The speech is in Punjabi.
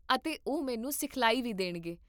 ਅਤੇ ਉਹ ਮੈਨੂੰ ਸਿਖਲਾਈ ਵੀ ਦੇਣਗੇ